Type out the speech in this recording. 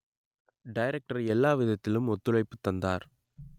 director எல்லாவிதத்திலும் ஒத்துழைப்பு தந்தார்